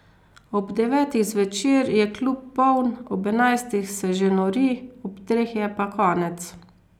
Ob devetih zvečer je klub poln, ob enajstih se že nori, ob treh je pa konec.